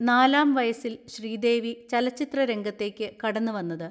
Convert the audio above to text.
നാലാം വയസ്സിൽ ശ്രീദേവി ചലച്ചിത്ര രംഗത്തേയ്ക്ക് കടന്നുവന്നത്.